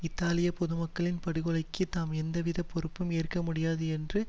இத்தாலிய பொதுமக்களின் படுகொலைக்கு தாம் எந்தவித பொறுப்பும் ஏற்க முடியாது என்று